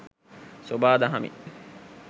සොබා දහමින්